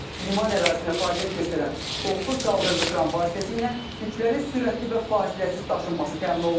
Liman ərazisində fəaliyyət göstərən doqquz qaldırıcı kran vasitəsilə yüklərin sürətli və fasiləsiz daşınması təmin olunur.